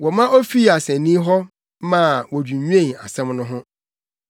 Wɔma wofii asennii hɔ ma wodwinnwen asɛm no ho.